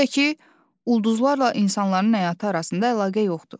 Bir də ki, ulduzlarla insanların həyatı arasında əlaqə yoxdur.